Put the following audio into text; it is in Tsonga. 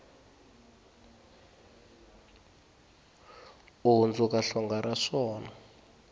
u hundzuka hlonga ra swona